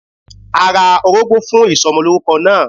A ra orógbó fún ìsomolórúko náà